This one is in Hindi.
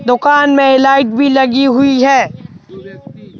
दुकान में लाइट भी लगी हुई है।